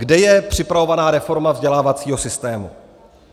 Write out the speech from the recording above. Kde je připravovaná reforma vzdělávacího systému?